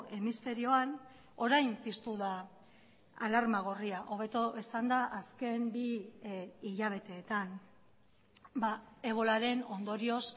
hemisferioan orain piztu da alarma gorria hobeto esanda azken bi hilabeteetan ebolaren ondorioz